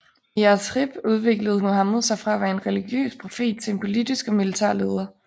I Yathrib udviklede Muhammed sig fra at være en religiøs profet til en politisk og militær leder